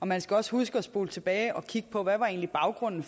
man skal også huske at spole tilbage og kigge på hvad baggrunden